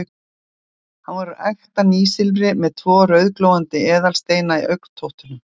Hann var úr ekta nýsilfri, með tvo rauðglóandi eðalsteina í augntóttunum.